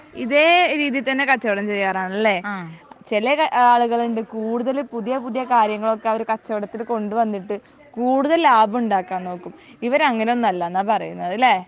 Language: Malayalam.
ഇതേ രീതിയിൽ തന്നെ കച്ചവടം ചെയ്യാറാണല്ലേ ചെല ആളുകളുണ്ട് കൂടുതൽ പുതിയ പുതിയ കാര്യങ്ങൾ ഒക്കെ അവർ കച്ചവടത്തിൽ കൊണ്ട് വന്നിട്ട് കൂടുതൽ ലാഭം ഉണ്ടാക്കാൻ നോക്കും ഇവരങ്ങിനെ ഒന്നും അല്ലെന്ന പറയുന്നത് അല്ലെ